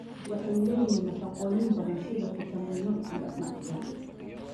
Waxay leeyihiin nafaqooyin badan sida fiitamiinno, iyo macdan.